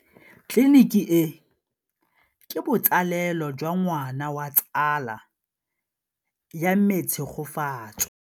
Tleliniki e, ke botsalêlô jwa ngwana wa tsala ya me Tshegofatso.